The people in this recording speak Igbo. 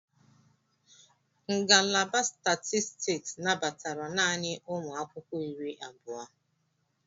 Ngalaba Statistiks nabatara naanị ụmụ akwụkwọ iri abụọ.